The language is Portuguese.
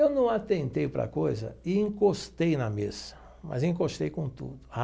Eu não atentei para a coisa e encostei na mesa, mas encostei com tudo.